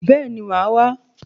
Bẹ́ẹ̀ni, màá wá